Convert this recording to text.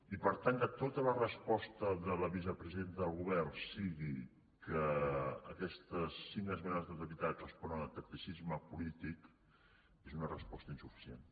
i per tant que tota la resposta de la vicepresidenta del govern sigui que aquestes cinc esmenes a la totalitat responen a tacticisme polític és una resposta insuficient